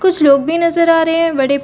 कुछ लोग भी नज़र आ रहे है बड़े--